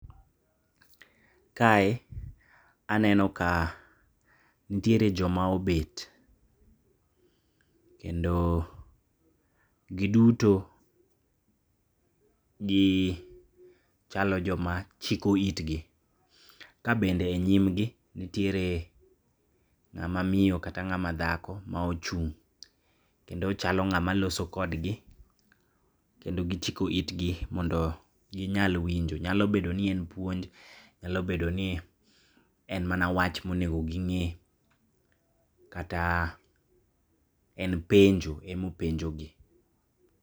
Kae aneno ka ntiere joma obet, kendo giduto gichalo joma chiko itgi, kabende nyimgi ntiere ng'ama miyo kata ng'ama dhako maouchung', kendo ochalo ng'ama loso kodgi, kendo gichiko itgi mondo ginyal winjo. Nyalo bedoni en puonj, nyalo bedoni en mana wach monego ging'e kata en penjo emopenjo gi.